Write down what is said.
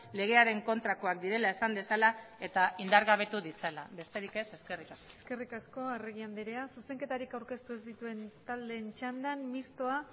legearen kontrakoak direla esan dezala eta indargabetu ditzala besterik ez eskerrik asko eskerrik asko arregi andrea zuzenketarik aurkeztu ez dituen taldeen txandan mistoa